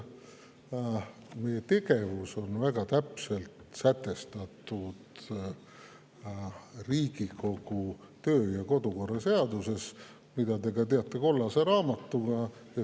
Meie tegevus on väga täpselt sätestatud Riigikogu kodu‑ ja töökorra seaduses, mida te teate ka kollase raamatuna.